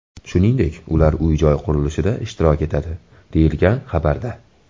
Shuningdek, ular uy-joy qurilishida ishtirok etadi”, deyilgan xabarda.